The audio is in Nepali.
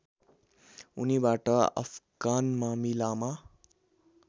उनीबाट अफगान मामिलामा